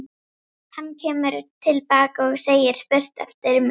Hann kemur til baka og segir spurt eftir mér.